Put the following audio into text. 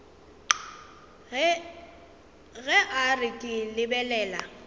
ge a re ke lebelela